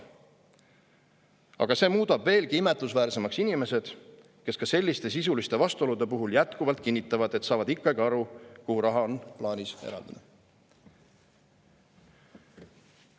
Aga see muudab veelgi imetlusväärsemaks inimesed, kes ka selliste sisuliste vastuolude puhul jätkuvalt kinnitavad, et saavad ikkagi aru, kuhu on plaanis raha eraldada.